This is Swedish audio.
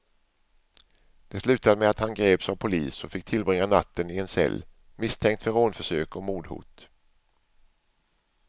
Det slutade med att han greps av polis och fick tillbringa natten i en cell, misstänkt för rånförsök och mordhot.